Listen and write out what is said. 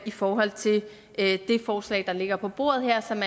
i forhold til det forslag der ligger på bordet her som